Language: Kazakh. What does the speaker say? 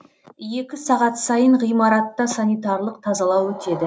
екі сағат сайын ғимаратта санитарлық тазалау өтеді